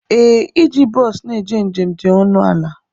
Ee, iji bọsu na-eje njem dị ọnụ ala.